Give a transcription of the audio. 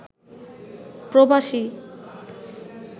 প্রবাসী